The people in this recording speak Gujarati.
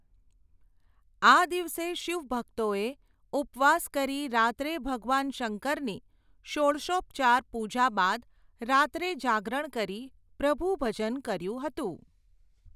આ દિવસે શિવભક્તોએ ઉપવાસ કરી રાત્રે ભગવાન શંકરની, ષોડશોપચાર પૂજા બાદ, રાત્રે જાગરણ કરી પ્રભુ ભજન કર્યુ હતું.